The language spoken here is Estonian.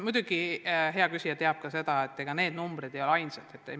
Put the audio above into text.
Muidugi hea küsija teab ka seda, et need numbrid ei ole ainsad näitajad.